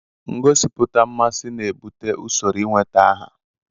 Ngosipụta mmasị na-ebute usoro ịweta aha.